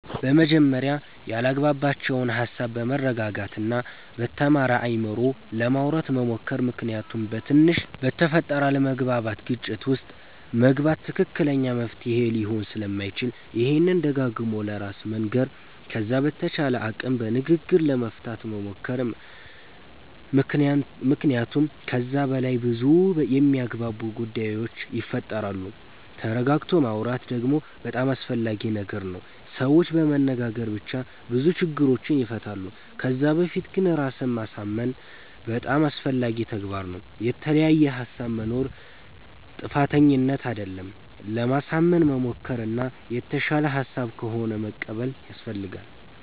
በመጀመርያ ያላግባባቸዉን ሃሳብ በመረጋጋት እና በተማረ አይምሮ ለማዉራት መሞከር ምክንያቱም በትንሽ በተፈጠረ አለመግባባት ግጭት ዉስጥ መግባት ትክክለኛ መፍትሄ ሊሆን ስለማይችል ይሄንን ደጋግሞ ለራስ መንገር ከዛ በተቻለ አቅም በንግግር ለመፍታት መሞከር መክንያቱመ ከዛ በላይ በዙ የሚያግባቡ ጉዳዮች ይፈጠራሉ ተረጋግቶ ማወራት ደግሞ በጣም አስፈላጊ ነገር ነዉ ሰዎች በመነጋገር ብቻ ብዙ ችግሮችን ይፈታሉ ከዛ በፊት ግን ራስን ማሳምን በጣም አስፈላጊ ተግባር ነዉ። የተለያየ ሃሳብ መኖር ጥፋተኝነት አደለም ለማሳመን መሞከር እና የተሻለ ሃሳብ ከሆነ መቀበል ያሰፈልጋል